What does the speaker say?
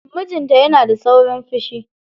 Mijinta yana da saurin fishi.